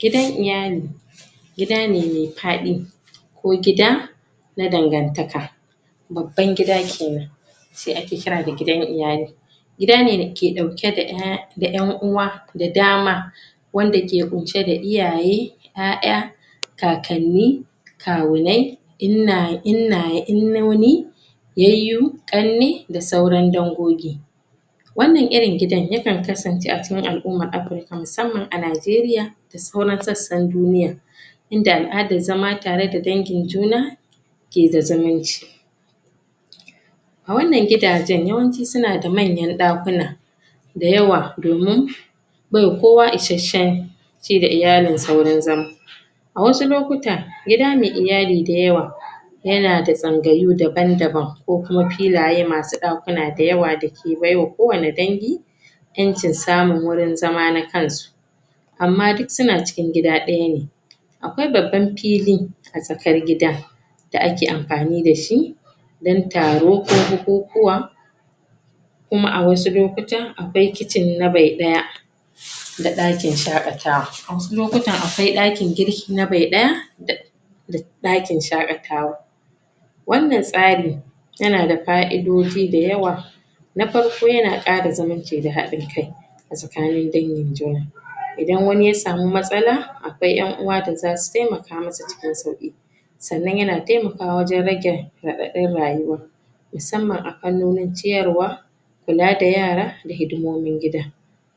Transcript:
Gidan iyali gida ne me faɗi ko gida na dangantaka babban gida kenan shi ake kira da gidan iyali. Gida ne dake ɗauke da 'ya da 'yan uwa da dama wanda ke ƙunshe da iyaye, 'ya 'ya, kakanni, kawunai, inna inna innoni, yayyu, ƙanne da sauran dangogi. Wannan irin gidan ya kan kasance a cikin al'umar Afrika musamman a Najeriya da sauran sassan duniya. Inda al'adar zama tare da dangin juna ke da zumunci. A wannan gidajen, yawanci suna da manyan ɗakuna da yawa domin baiwa kowa ishashshen ci da iyalinsa wurin zama A wasu lokuta, gida me iyali dayawa yana da tsangayu daban-daban ko kuma filaye masu ɗakuna dayawa dayawa da ke baiwa kowane dangi 'Yancin samun wurin zama na kansu amma duk suna cikin gida ɗaya ne Akwai babban fili A tsakar gida da ake amfani da shi dan taro ko bukukuwa kuma a wasu lokutan akwai kicin na bai ɗaya da ɗakin shaƙatawa. A wasu lokutan akwai ɗakin girki na bai ɗaya da da ɗakin shaƙatawa wannan tsari yana da fa'idoji dayawa na farko yana ƙara zumunci da haɗin kai tsakanin dangin juna idan wani ya samu matsala akwai 'yan uwa da zasu taimaka musu cikin sauƙi sannan yana taimakawa wajen rage raɗaɗin rayuwa musamman a fannonin ciyarwa kula da yara da hidimomin gida